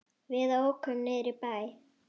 Við ókum niður í bæ.